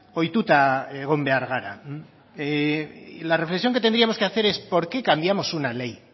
ohituta egon behar gara y la reflexión que tendríamos que hacer es porque cambiamos una ley